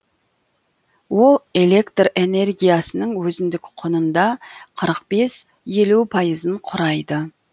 ол электр энергиясының өзіндік құнында қырық бес елу пайызын құрайды